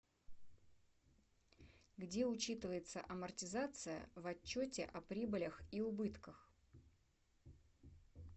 где учитывается амортизация в отчете о прибылях и убытках